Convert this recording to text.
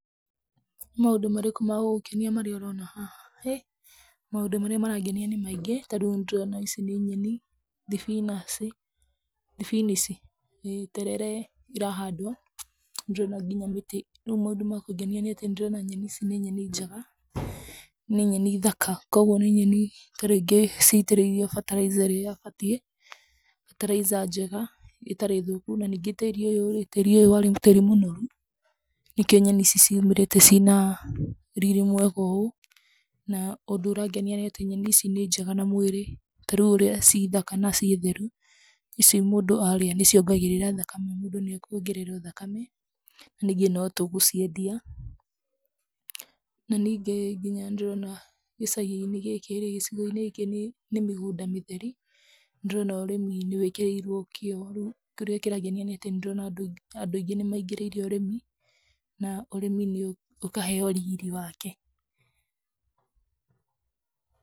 Nĩ maũndũ marĩkũ magũgũkenia ũroona haha? Hĩ! Maũndũ marĩa marangenia nĩ maingĩ. Ta rĩu nĩ ndĩrona ici nĩ nyeni, spinach spinach, ĩ, terere irahandwo, nĩ ndĩrona nginya mĩtĩ. Rĩu maũndũ ma kũngenia nĩ atĩ nĩ ndĩrona nyeni ici nĩ nyeni njega, nĩ nyeni thaka. Kwoguo nĩ nyeni ta rĩngĩ ciitĩrĩirio fertilizer ĩrĩa ĩbatiĩ, fertilizer njega ĩtarĩ thũku. Na ningĩ tĩĩri ũyũ rĩ, tĩĩri ũyũ warĩ mũnoru, nĩkĩo nyeni ici ciumĩrĩte ciina riri mwega ũũ. Na ũndũ ũrangenia nĩ atĩ nyeni ici nĩ njega na mwĩrĩ. Ta rĩu ũrĩa ci thaka na ciĩ theru, ici mũndũ aarĩa nĩ ciongagĩrĩra thakame, mũndũ nĩ ekũongererwo thakame. Ningĩ no tũgũciendia. Na ningĩ nginya nĩ ndĩrona gĩcagi-inĩ gĩkĩ rĩ, gĩcigo-inĩ gĩkĩ nĩ mĩgũnda mĩtheri. Nĩ ndĩrona ũrĩmi nĩ wĩkĩrĩirwo kĩo, rĩu, kĩrĩa kĩrangenia nĩ atĩ nĩ ndĩrona andũ andũ aingĩ nĩ maingĩrĩire ũrĩmi, na ũrĩmi nĩ ũkaheo riri wake.